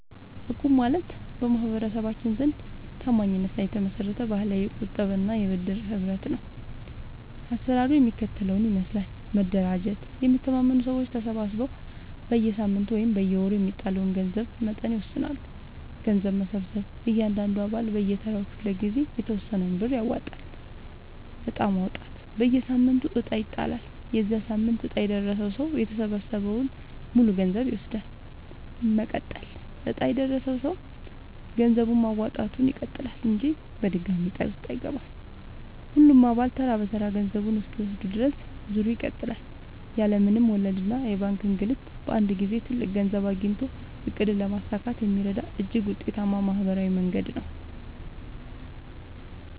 እቁብ ማለት በማህበረሰባችን ዘንድ ታማኝነት ላይ የተመሰረተ ባህላዊ የቁጠባና የብድር ህብረት ነው። አሰራሩ የሚከተለውን ይመስላል፦ መደራጀት፦ የሚተማመኑ ሰዎች ተሰባስበው በየሳምንቱ ወይም በየወሩ የሚጣለውን የገንዘብ መጠን ይወስናሉ። ገንዘብ መሰብሰብ፦ እያንዳንዱ አባል በየተራው ክፍለ-ጊዜ የተወሰነውን ብር ያዋጣል። ዕጣ ማውጣት፦ በየሳምንቱ ዕጣ ይጣላል። የዚያ ሳምንት ዕጣ የደረሰው ሰው የተሰበሰበውን ሙሉ ገንዘብ ይወስዳል። መቀጠል፦ ዕጣ የደረሰው ሰው ገንዘብ ማዋጣቱን ይቀጥላል እንጂ ድጋሚ ዕጣ ውስጥ አይገባም። ሁሉም አባላት ተራ በተራ ገንዘቡን እስኪወስዱ ድረስ ዙሩ ይቀጥላል። ያለ ምንም ወለድና የባንክ እንግልት በአንድ ጊዜ ትልቅ ገንዘብ አግኝቶ ዕቅድን ለማሳካት የሚረዳ እጅግ ውጤታማ ማህበራዊ መንገድ ነው።